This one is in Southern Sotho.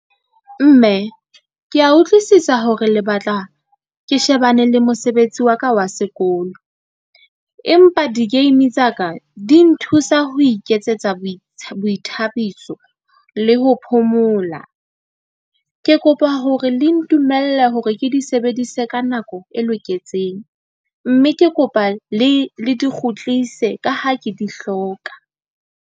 Mme ke a utlwisisa hore le batla ke shebane le mosebetsi wa ka wa sekolo. Empa di-game tsa ka di nthusa ho iketsetsa boithabiso le ho phomola. Ke kopa hore le ntumelle hore ke di sebedise ka nako e loketseng. Mme ke kopa le di kgutlise ka ha ke di hloka.